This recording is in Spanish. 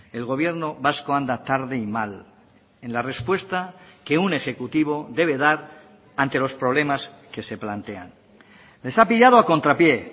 el gobierno vasco anda tarde y mal en la respuesta que un ejecutivo debe dar ante los problemas que se plantean les ha pillado a contrapié